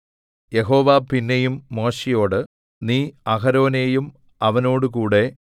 യഹോവ പിന്നെയും മോശെയോട് നീ അഹരോനെയും അവനോടുകൂടെ